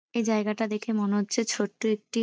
এই জায়গাটা দেখে মনে হচ্ছে ছোট্ট একটি --